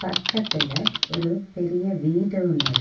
பக்கத்துல ஒரு பெரிய வீடு ஒன்னிருக்கு.